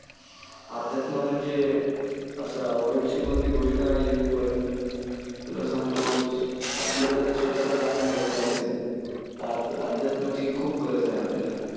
अध्यात्म म्हणजे असं अवघड अशी कोणती गोष्ट नाहीये पण तुला सांगतो आपल्याला जर स्वतःला जाणून घ्यायचं असेल तर अध्यात्माची खूप गरज आहे आपल्याला.